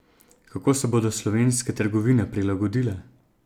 Kako se bodo slovenske trgovine prilagodile?